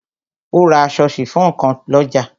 O ra aṣọ sifon kan lọ́jà.